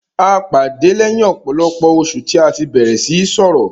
A pàdé lẹ́yìn ọ̀pọ̀lọpọ̀ oṣù tí a tí bẹ̀rẹ̀ síí sọrọ̀.